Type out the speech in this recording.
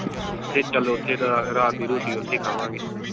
ਤੇ ਚਲ ਓਥੇ ਦਾ ਰਾਤ ਦੀ ਰੋਟੀ ਓਥੇ ਖਾਵਾਂਗੇ।